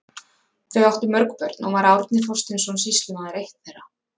Þau áttu mörg börn og var Árni Þorsteinsson sýslumaður eitt þeirra.